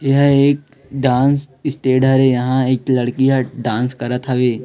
यह एक डांस स्टेड हरे यहां एक लड़की ह डांस करत थावी ।